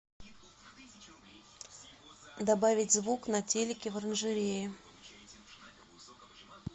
добавить звук на телике в оранжерее